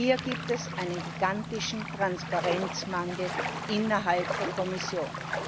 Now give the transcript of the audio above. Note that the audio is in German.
Hier gibt es einen gigantischen Transparenzmangel innerhalb der Kommission.